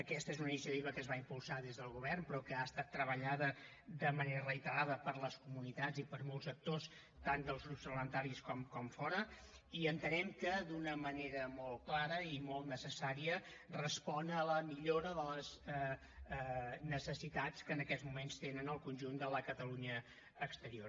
aquesta és una iniciativa que es va impulsar des del govern però que ha estat treballada de manera reiterada per les comunitats i per molts actors tant dels grups parlamentaris com de fora i entenem que d’una manera molt clara i molt necessària respon a la millora de les necessitats que en aquests moments té en el conjunt de la catalunya exterior